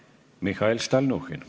Mihhail Stalnuhhin.